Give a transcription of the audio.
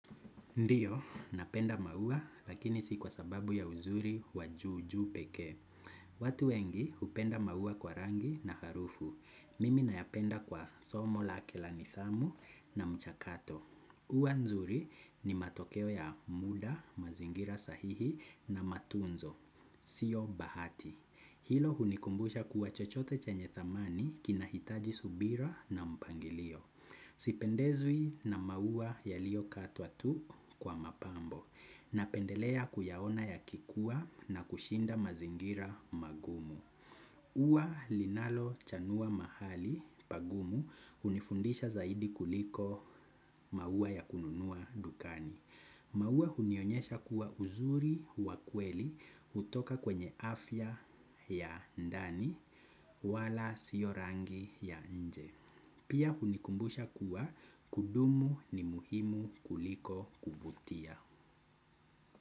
Ndiyo, napenda maua lakini si kwa sababu ya uzuri wa juu juu pekee. Watu wengi hupenda maua kwa rangi na harufu. Mimi nayapenda kwa somo lake la nithamu na mchakato. Huwa nzuri ni matokeo ya muda, mazingira sahihi na matunzo. Sio bahati. Hilo hunikumbusha kuwa chochote chenye thamani kinahitaji subira na mpangilio. Sipendezwi na maua yalio katwa tu kwa mapambo napendelea kuyaona yakikuwa na kushinda mazingira magumu. Huwa linalo chanua mahali pagumu hunifundisha zaidi kuliko maua ya kununua dukani. Maua unionyesha kuwa uzuri wa kweli kutoka kwenye afya ya ndani wala sio rangi ya nje. Pia hunikumbusha kuwa kudumu ni muhimu kuliko kuvutia.